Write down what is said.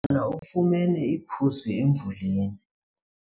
na ufumene ikhusi emvuleni.